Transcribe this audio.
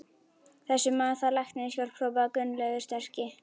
Þessi maður þarf læknishjálp hrópaði Gunnlaugur sterki.